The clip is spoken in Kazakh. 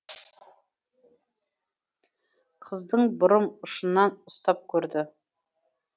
қыздың бұрым ұшынан ұстап көрді